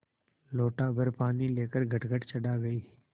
लोटाभर पानी लेकर गटगट चढ़ा गई